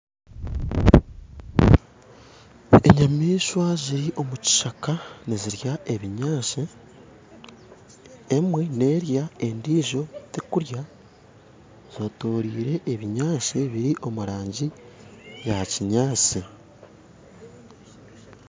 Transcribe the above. Enyamishwa ziri omukishaka nizirya ebinyansi, emwe nerya endiijo tekurya, zetoriire ebiyansi ebiri omurangi yakinyansi.